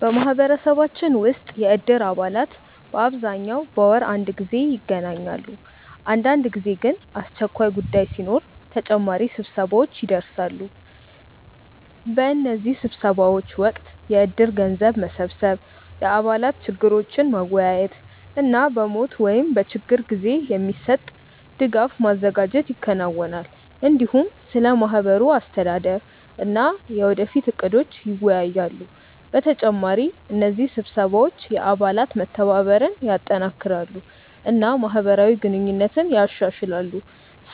በማህበረሰባችን ውስጥ የእድር አባላት በአብዛኛው በወር አንድ ጊዜ ይገናኛሉ። አንዳንድ ጊዜ ግን አስቸኳይ ጉዳይ ሲኖር ተጨማሪ ስብሰባዎች ይደርሳሉ። በእነዚህ ስብሰባዎች ወቅት የእድር ገንዘብ መሰብሰብ፣ የአባላት ችግሮችን መወያየት እና በሞት ወይም በችግር ጊዜ የሚሰጥ ድጋፍ ማዘጋጀት ይከናወናል። እንዲሁም ስለ ማህበሩ አስተዳደር እና የወደፊት እቅዶች ይወያያሉ። በተጨማሪ እነዚህ ስብሰባዎች የአባላት መተባበርን ያጠናክራሉ እና ማህበራዊ ግንኙነትን ያሻሽላሉ፣